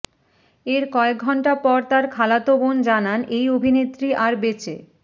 এর কয়েক ঘণ্টা পর তার খালাতো বোন জানান এই অভিনেত্রী আর বেঁচে